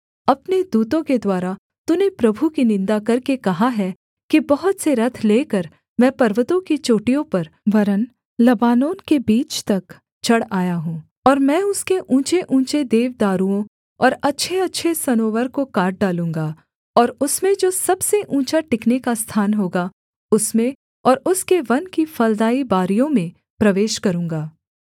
अपने दूतों के द्वारा तूने प्रभु की निन्दा करके कहा है कि बहुत से रथ लेकर मैं पर्वतों की चोटियों पर वरन् लबानोन के बीच तक चढ़ आया हूँ और मैं उसके ऊँचेऊँचे देवदारुओं और अच्छेअच्छे सनोवर को काट डालूँगा और उसमें जो सबसे ऊँचा टिकने का स्थान होगा उसमें और उसके वन की फलदाई बारियों में प्रवेश करूँगा